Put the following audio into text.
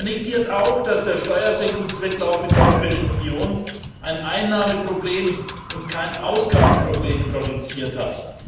Er negiert auch, dass der Steuersenkungswettlauf in der Europäischen Union ein Einnahmenproblem und kein Ausgabenproblem produziert hat.